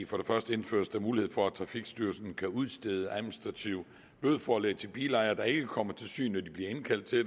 for det første indføres der mulighed for at trafikstyrelsen kan udstede administrative bødeforelæg til bilejere der ikke kommer til syn når de bliver indkaldt til